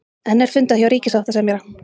Enn er fundað hjá ríkissáttasemjara